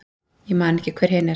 Ég man ekki hver hin er.